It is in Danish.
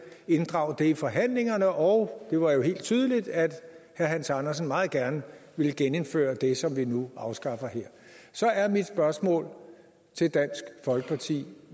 inddrage det i forhandlingerne og det var jo helt tydeligt at herre hans andersen meget gerne ville genindføre det som vi nu afskaffer her så er mit spørgsmål til dansk folkeparti